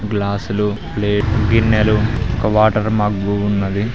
glass లో plate గిన్నెలు ఒక వాటర్ మగ్గు ఉన్నది